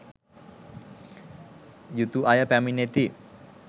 යුතු අය පැමිණෙති